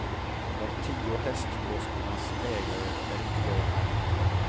De tio hästdroskornas ägare är inte glada.